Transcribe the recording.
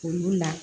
Olu la